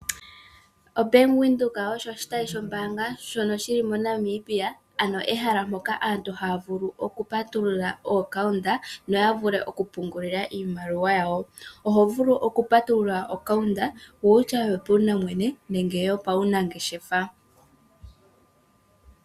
OBank Windhoek osho oshitayi shombaanga shono shili mo Namibia ano ehala mpoka aantu haya vulu oku patulula okambo kombaanga noya vule oku pungula iimaliwa yawo oho vulu oku patulula okambo kombaanga yopaumwene nenge yo paunangeshefa.